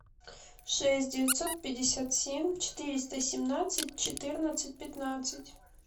шесть девятьсот пятьдесят семь четыреста семнадцать четырнадцать пятнадцать